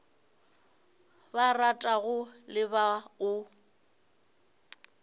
ba ratago le ba o